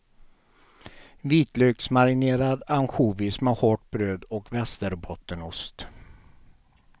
Vitlöksmarinerad ansjovis med hårt bröd och västerbottenost.